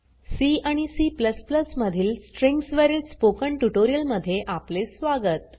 C आणि C मधील strings वरील स्पोकन ट्यूटोरियल मध्ये आपले स्वागत